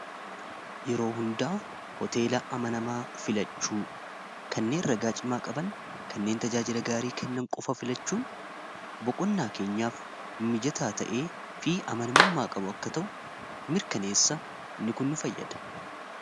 Yeroo hundaa hoteela amanamaa filachuu kanneen ragaa cimaa qaban kanneen tajaajila gaarii kennan qofa filachuun boqonnaa keenyaaf mijataa ta'ee fi amanamummaa qabu akka ta'u mirkaneessa in kun nu fayyada.